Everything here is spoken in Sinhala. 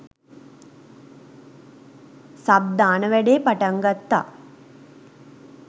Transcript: සබ් දාන වැඩේ පටන් ගත්තා